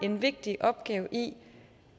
en vigtig opgave i